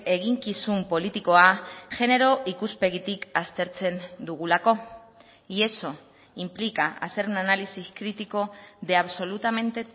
eginkizun politikoa genero ikuspegitik aztertzen dugulako y eso implica hacer una análisis crítico de absolutamente